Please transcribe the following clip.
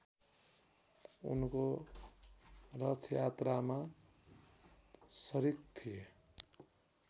उनको रथयात्रामा सरिक थिए